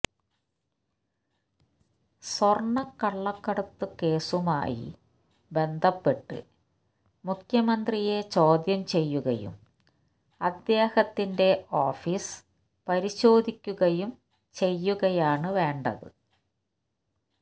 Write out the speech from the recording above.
സ്വർണക്കള്ളക്കടത്ത് കേസുമായി ബന്ധപ്പെട്ട് മുഖ്യമന്ത്രിയെ ചോദ്യം ചെയ്യുകയും അദ്ദേഹത്തിന്റെ ഓഫീസ് പരിശോധിക്കുകയും ചെയ്യുകയാണ് വേണ്ടത്